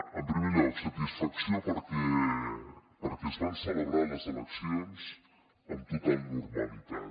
en primer lloc satisfacció perquè es van celebrar les eleccions amb total normalitat